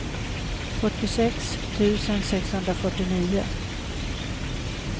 fyrtiosex tusen sexhundrafyrtionio